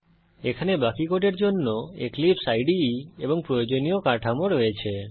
এখানে বাকি কোডের জন্য এক্লিপসে ইদে এবং প্রয়োজনীয় কাঠামো রয়েছে